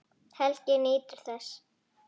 Helgi nýtur þess.